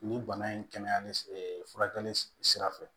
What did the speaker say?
Nin bana in kɛnɛyali furakɛli sira fɛ